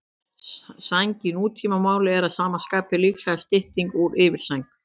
Sæng í nútímamáli er að sama skapi líklega stytting úr yfirsæng.